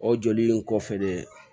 O joli in kɔfɛ de